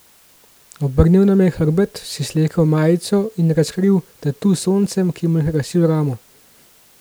Obrnil nam je hrbet, si slekel majico in razkril tatu s soncem, ki mu je krasil ramo.